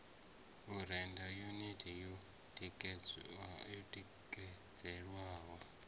u rennda yuniti yo tikedzelwaho